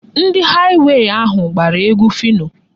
Ndị haịwey ahụ gbara egwu Phyno.